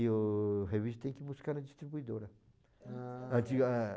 E o revista tem que buscar na distribuidora. Ah...